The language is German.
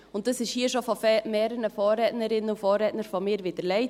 Und das wurde hier schon von mehreren Vorrednerinnen und Vorrednern vor mir widerlegt.